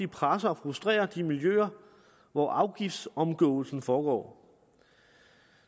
presser og frustrerer de miljøer hvor afgiftsomgåelsen foregår